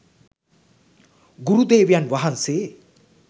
ගුරුදේවයන් වහන්සේ